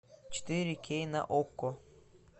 четыре кей на окко